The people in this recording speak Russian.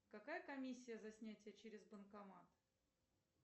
какая комиссия за снятие через банкомат